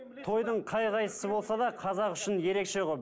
тойдың қай қайсы болса да қазақ үшін ерекше ғой